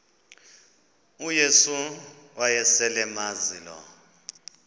uyesu wayeselemazi lo